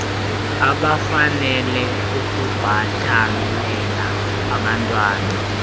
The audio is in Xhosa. abafanele ukubhatalela abantwan